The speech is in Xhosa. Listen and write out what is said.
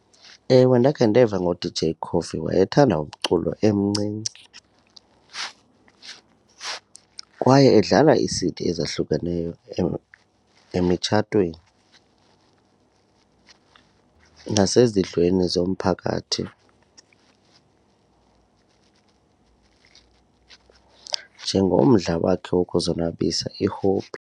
Ewe, ndakhe ndeva ngo-D_JCoffee wayethanda umculo emncinci kwaye edlala ii-C_D ezahlukeneyo emitshatweni nasezindlweni zomphakathi njengomdla wakhe wokuzonwabisa i-hobby.